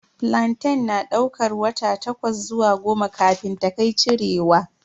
Flantain na daukar wata takwas zuwa goma kafin ta kai cirewa.